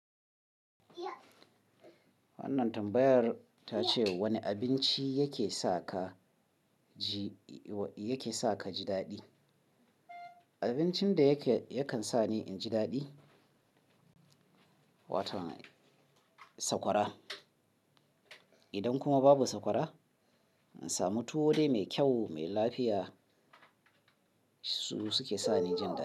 Wannan tambayar ta ce wani abinci yake sa ka ji, yake sa ka ji daɗi? Abincin da yake yakan sa ni in ji daɗi, wato sakwara. Idan kuma babu sakwara, in samu tuwo dai mai kyau, mai lafiya su suke sa ni jin da.